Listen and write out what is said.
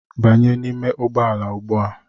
Banye n'ime ụgbọala ugbua!